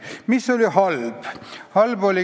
Mis oli halb?